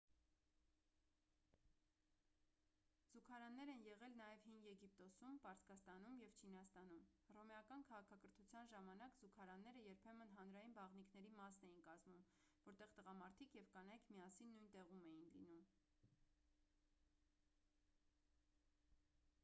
զուգարաններ են եղել նաև հին եգիպտոսում պարսկաստանում և չինաստանում հռոմեական քաղաքակրթության ժամանակ զուգարանները երբեմն հանրային բաղնիքների մասն էին կազմում որտեղ տղամարդիկ և կանայք միասին նույն տեղում էին լինում